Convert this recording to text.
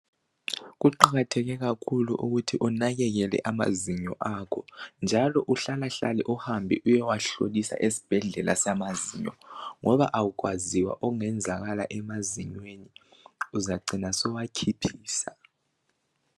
Kuqakatheke kakhulu ukuthi unakekele amazinyo akho njalo uhlala hlale uhambe uyewahlolisa esibhedlela samazinyo ngoba akwaziwa okungenzakala emazinyweni. Uzacina suwakhiphisa.